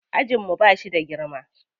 Ajin mu ba shi da girma.